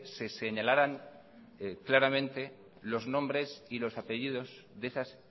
se señalaran claramente los nombres y los apellidos de esas